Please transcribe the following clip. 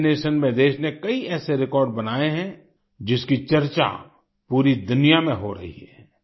vaccination में देश ने कई ऐसे रिकॉर्ड बनाए हैं जिसकी चर्चा पूरी दुनिया में हो रही है